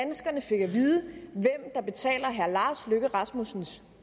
vide hvem der betaler herre lars løkke rasmussens